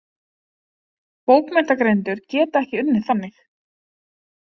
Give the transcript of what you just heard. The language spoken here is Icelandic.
Bókmenntagreinendur geta ekki unnið þannig.